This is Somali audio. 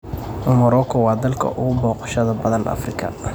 Marooko waa dalka ugu booqashada badan Afrika.